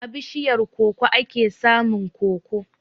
A bishiyar koko ake samun koko.